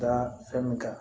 Da fɛn min kan